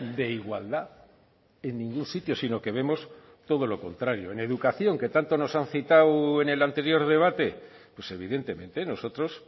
de igualdad en ningún sitio sino que vemos todo lo contrario en educación que tanto nos han citado en el anterior debate pues evidentemente nosotros